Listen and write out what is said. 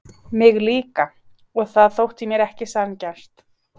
Mig líka og það þótti mér ekki sanngjarnt.